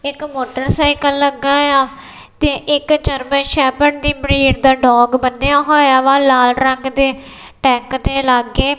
ਇੱਕ ਮੋਟਰਸਾਈਕਲ ਲੱਗਾ ਏ ਆ ਤੇ ਇੱਕ ਜਰਮਨ ਸ਼ੈਫਰਡ ਦੀ ਬ੍ਰੀਡ ਦਾ ਡੋਗ ਬੰਨ੍ਹਿਆ ਹੋਇਆ ਵਾ ਲਾਲ ਰੰਗ ਦੇ ਟੈਂਕ ਤੇ ਲਾੱਗੇ।